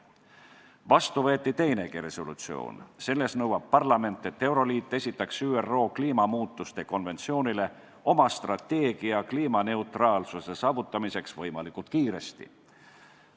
Vastu võeti teinegi resolutsioon, selles nõuab parlament, et euroliit esitaks ÜRO kliimamuutuste konventsiooni juurde oma strateegia kliimaneutraalsuse saavutamiseks võimalikult kiiresti.